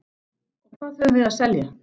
Og hvað höfum við að selja?